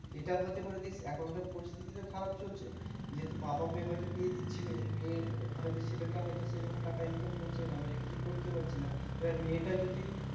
এটা হতে পারে দেখ এখনকার পরিস্থিতি তো খারাপ চলছে। যেহেতু বাবা হয়তো বিয়ে দিচ্ছে মেয়ের। মেয়ের হয়তো ছেলেটা হয়তো সেরকম টাকা income করছে না বা কিছু করতে পারছে না। এবার মেয়েটা যদি